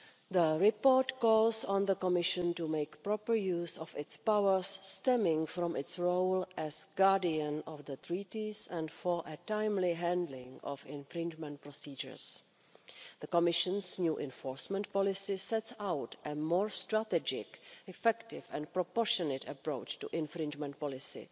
The report calls on the Commission to make proper use of its powers stemming from its role as guardian of the Treaties, and for a timely handling of infringement procedures. The Commission's new enforcement policy sets out a more strategic, effective and proportionate approach to infringement policy